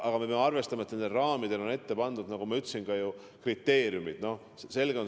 Aga me peame arvestama, et nende raamide puhul kehtivad, nagu ma ütlesin, teatud kriteeriumid.